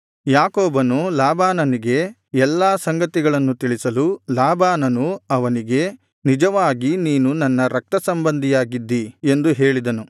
ಯಾಕೋಬನು ಲಾಬಾನನಿಗೆ ಎಲ್ಲಾ ಸಂಗತಿಗಳನ್ನು ತಿಳಿಸಲು ಲಾಬಾನನು ಅವನಿಗೆ ನಿಜವಾಗಿ ನೀನು ನನ್ನ ರಕ್ತ ಸಂಬಂಧಿಯಾಗಿದ್ದಿ ಎಂದು ಹೇಳಿದನು